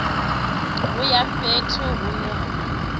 u ya fhethu hune ha